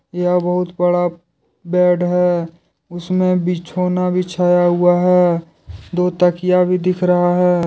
यह बहुत बड़ा बेड है उसमें बिछौना बिछाया हुआ है दो तकिया भी दिख रहा है।